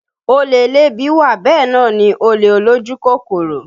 Olè elébi wà bẹ́ẹ̀ náà ni olè olójú kòkòrò